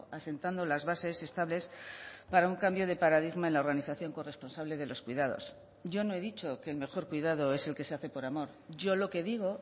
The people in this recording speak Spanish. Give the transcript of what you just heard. asentando las bases estables para un cambio de paradigma en la organización corresponsable de los cuidados yo no he dicho que el mejor cuidado es el que se hace por amor yo lo que digo